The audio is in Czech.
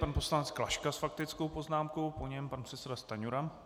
Pan poslanec Klaška s faktickou poznámkou, po něm pan předseda Stanjura.